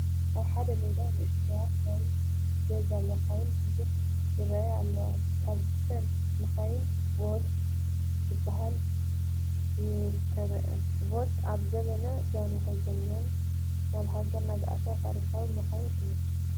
ኣብ ሓደ ሜዳ ንኡሽተያት ናይ ገዛ መኻይን ብብዝሒ ይርአያ ኣለዋ፡፡ ካብዘን መኻይን ቮልስ ዝበሃላ ይርከብኣን፡፡ ቮልስ ካብ ዘበን ጃንሆም ጀሚረን ናብ ሃገርና ዝኣተዋ ታሪካውያን መኻይን እየን፡፡